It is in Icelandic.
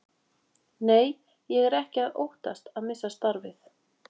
Nei, ég er ekki að óttast að missa starfið.